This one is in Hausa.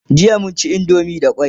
jiya mun ci indomie da kwai